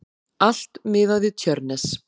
Allt miðað við Tjörnes.